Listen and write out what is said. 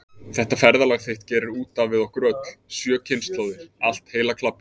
Þetta ferðalag þitt gerir út af við okkur öll, sjö kynslóðir, allt heila klabbið.